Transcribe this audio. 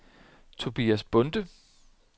Tobias Bonde